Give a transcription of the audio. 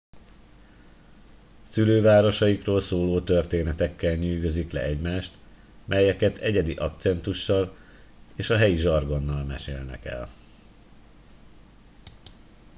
szülővárosaikról szóló történetekkel nyűgözik le egymást melyeket egyedi akcentussal és a helyi zsargonnal mesélnek el